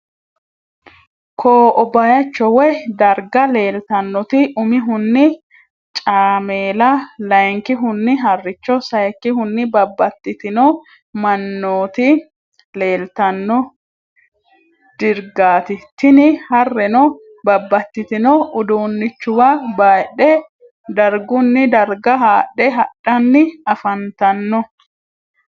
Ko’’o bayicho woy dariga lelitanoti umihuni caamela, layinkihuni haaricho ,sayikuni babatitino manaoti lelitano drigat tini harreno babatitino udunichuwa bayidhe darigunni darga hadhe hadhanni afaannitano.